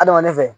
Adamaden fɛ